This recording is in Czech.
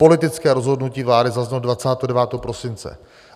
Politické rozhodnutí vlády zaznělo 29. prosince.